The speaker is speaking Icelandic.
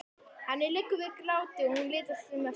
Henni liggur við gráti og hún litast um eftir manninum.